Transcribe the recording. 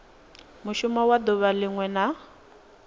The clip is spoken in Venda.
mushumo wa duvha linwe na